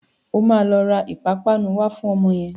O máa lọ ra ìpapánu wá fún ọmọ yẹn.